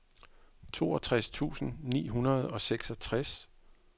toogtres tusind ni hundrede og seksogtres